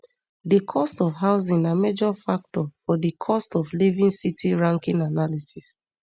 di cost of housing na major factor for di cost of living city ranking analysis